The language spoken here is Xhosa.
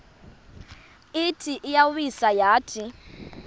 ithi iyawisa yathi